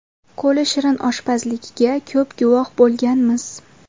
Qo‘li shirin oshpazligiga ko‘p guvoh bo‘lganmiz.